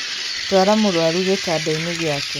Twara mũrwaru gĩtanda-inĩ gĩake